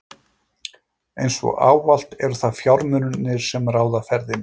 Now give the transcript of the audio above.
Eins og ávallt eru það fjármunirnir, sem ráða ferðinni.